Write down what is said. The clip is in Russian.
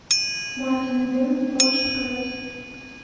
мартин иден можешь показать